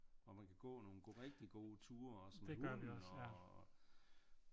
Hvor man kan gå nogle rigtige gode ture også med hunden og